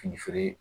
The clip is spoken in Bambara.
Fini feere